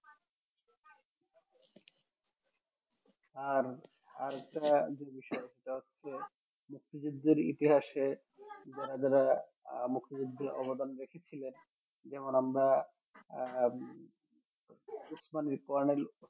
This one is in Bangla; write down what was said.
আর আর একটা বিষয় সেটা হচ্ছে মুক্তিযুদ্ধের ইতিহাসে যারা যারা আহ মুক্তিযুদ্ধে অবদান রেখেছিলেন যেমন আমরা আহ